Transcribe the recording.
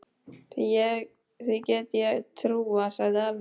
Því get ég trúað, sagði afi.